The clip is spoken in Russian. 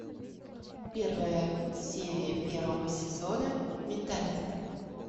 первая серия первого сезона менталист